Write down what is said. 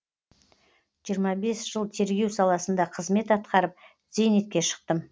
жиырма бес жыл тергеу саласында қызмет атқарып зейнетке шықтым